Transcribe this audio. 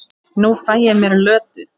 Nú fæ ég mér Lödu.